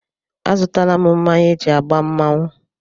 Azụtala m mmanya eji agba mmanwụ.